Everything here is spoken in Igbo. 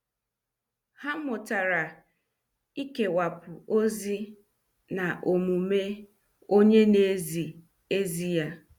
Ha mụtara ikewapu ozi na omume onye na- ezi ezi ya.